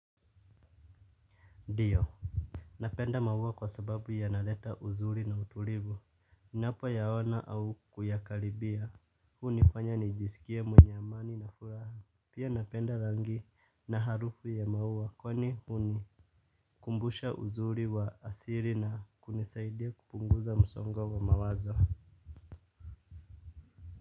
Ndio, napenda maua kwa sababu yanaleta uzuri na utulivu, ninapoyaona au kuyakaribia, hunifanya nijisikie mwenye amani na furaha. Pia napenda rangi na harufu ya maua kwani huni kumbusha uzuri wa asili na kunisaidia kupunguza msongo wa mawazo.